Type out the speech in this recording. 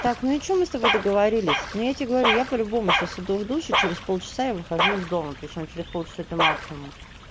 так ну и что мы с тобой договорились но я тебе говорю я по-любому сейчас иду в душ и через полчаса я выхожу из дома причём через полчаса это максимум